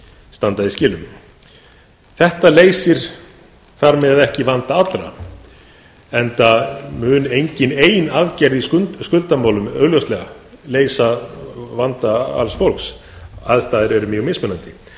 standa í skilum þetta leysir þar með ekki vanda allra enda mun engin ein aðgerð í skuldamálum augljóslega leysa vanda alls fólks aðstæður eru mjög mismunandi